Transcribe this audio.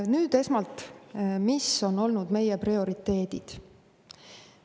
Nüüd esmalt, mis on olnud meie prioriteedid.